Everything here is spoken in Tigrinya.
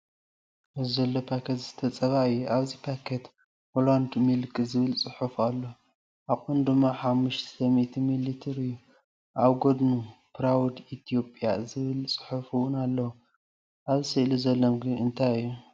ኣብዚ ዘሎ ፓኬት ዝስተ ጸባ እዩ። ኣብቲ ፓኬት “ሆላንድ ሚልክ” ዝብል ጽሑፍ ኣሎ፣ ዓቐኑ ድማ “500 ሚሊ ሊትር” እዩ። ኣብ ጎድኑ "ፕራውድ ኢትዮጵያ" ዝብል ጽሑፍ እውን ኣለዎ። ኣብ ስእሊ ዘሎ ምግቢ እንታይ እዩ?